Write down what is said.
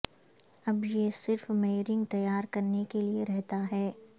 اب یہ صرف میئرنگ تیار کرنے کے لئے رہتا ہے